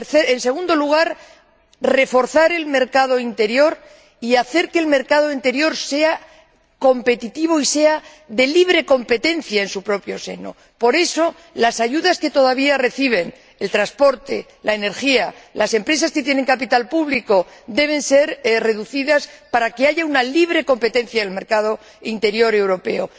En segundo lugar, reforzar el mercado interior y hacer que el mercado interior sea competitivo y sea de libre competencia en su propio seno. Por eso, las ayudas que todavía reciben el transporte, la energía, las empresas que tienen capital público, deben ser reducidas para que haya una libre competencia en el mercado interior europeo.